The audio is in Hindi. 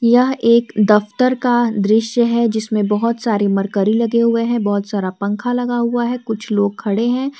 यह एक दफ्तर का दृश्य है जिसमें बहुत सारी मरकरी लगे हुए हैं बहुत सारा पंखा लगा हुआ है कुछ लोग खड़े हैं।